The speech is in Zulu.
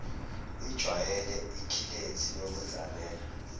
ijwayele ikhilethi yokuzalela